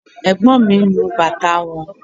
Ẹ̀gbọ́n mi ń nu bàtà wọn